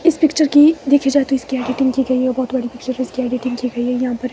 इस पिक्चर की देखी जाए तो इसकी एडिटिंग की गई है बहोत बड़ी सिर्फ इसकी एडिटिंग की गई है यहां पर--